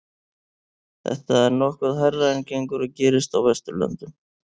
Þetta er nokkuð hærra en gengur og gerist á Vesturlöndum.